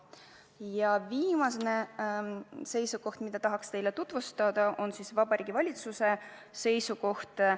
Ja viimane seisukoht, mida ma tahan teile tutvustada, on Vabariigi Valitsuse seisukoht.